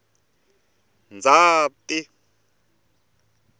ndzati